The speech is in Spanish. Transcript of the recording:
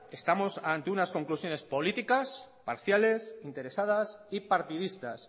estamos ante unas conclusiones políticas parciales interesadas y partidistas